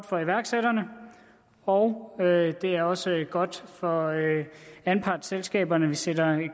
for iværksætterne og det er også godt for anpartsselskaberne at vi sætter